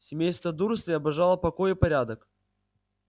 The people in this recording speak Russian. семейство дурслей обожало покой и порядок